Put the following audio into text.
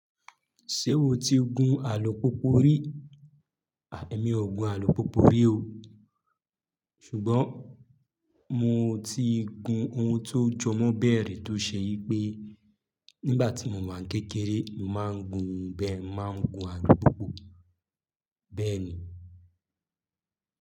Ṣé o ti gun alùpùpù rí? À mi ò gun alùpùpù rí o. Ṣùgbọ́n mo ti gun ohun tó jọmọ́ bẹ́ẹ̀ rí tó ṣe yí pé nígbà tí mo wà kékeré, màá ń gun bẹ́, màá ń gun alùpùpù. Bẹ́ẹ̀ ni.